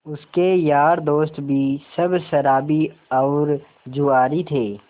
उसके यार दोस्त भी सब शराबी और जुआरी थे